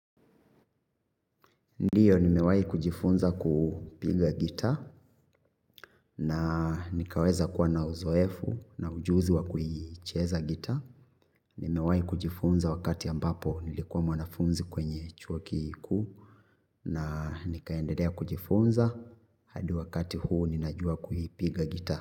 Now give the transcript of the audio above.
Ndiyo nimewai kujifunza kupiga gitaa na nikaweza kuwa na uzoefu na ujuzi wa kuicheza gitaa. Nimewai kujifunza wakati ambapo nilikuwa mwanafunzi kwenye chuo kikuu na nikaendelea kujifunza hadi wakati huu ninajua kuhipiga gita.